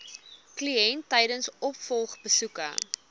kliënt tydens opvolgbesoeke